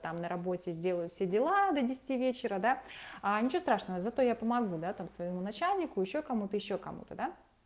там на работе сделаю все дела до десяти вечера да а ничего страшного зато я помогу да там своему начальнику ещё кому-то и ещё кому-то да